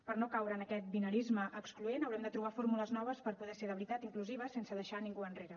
per no caure en aquest binarisme excloent haurem de trobar fórmules noves per poder ser de veritat inclusives sense deixar ningú enrere